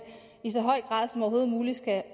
i så høj grad som overhovedet muligt skal